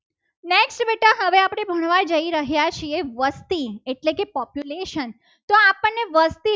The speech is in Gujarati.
આ જઈ રહ્યા છીએ. વસ્તી એટલે કે population